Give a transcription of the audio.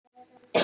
Já, ég er hér.